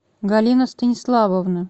галина станиславовна